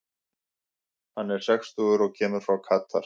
Hann er sextugur og kemur frá Katar.